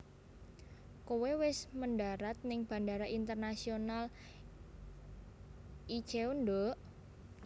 Koe wes mendarat ning Bandara Internasional Incheon nduk